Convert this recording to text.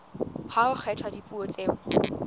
ha ho kgethwa dipuo tseo